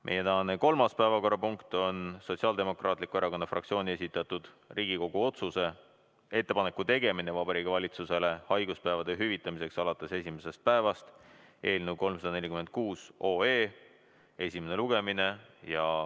Meie tänane kolmas päevakorrapunkt on Sotsiaaldemokraatliku Erakonna fraktsiooni esitatud Riigikogu otsuse "Ettepaneku tegemine Vabariigi Valitsusele haiguspäevade hüvitamiseks alates esimesest päevast" eelnõu 346 esimene lugemine.